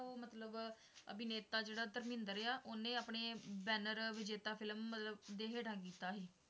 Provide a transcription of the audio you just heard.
ਮਤਲਬ ਅਭਿਨੇਤਾ ਜਿਹੜਾ ਧਰਮਿੰਦਰ ਆ, ਉਹਨੇ ਆਪਣੇ ਬੈਨਰ ਵਿਜੇਤਾ film ਮਤਲਬ ਦੇ ਹੇਠਾਂ ਕੀਤਾ ਸੀ।